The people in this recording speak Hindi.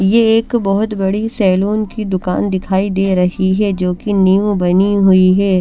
ये एक बहोत बड़ी सैलून की दुकान दिखाई दे रही है जोकि न्यू बनी हुई है।